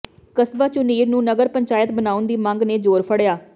ਕਸਬਾ ਝੁਨੀਰ ਨੂੰ ਨਗਰ ਪੰਚਾਇਤ ਬਣਾਉਣ ਦੀ ਮੰਗ ਨੇ ਜ਼ੋਰ ਫੜਿਆ